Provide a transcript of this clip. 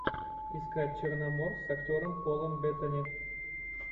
искать черномор с актером полом беттани